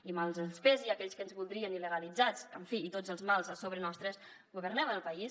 i mal que els pesi a aquells que ens voldrien il·legalitzats en fi i amb tots els mals a sobre nostre governem el país